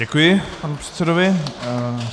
Děkuji panu předsedovi.